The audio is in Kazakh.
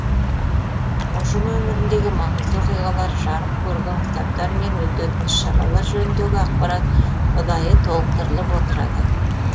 ұжым өміріндегі маңызды оқиғалар жарық көрген кітаптар мен өтетін іс шаралар жөніндегі ақпарат ұдайы толықтырылып отырады